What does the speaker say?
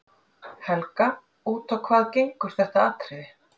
Helga: Út á hvað gengur þetta atriði?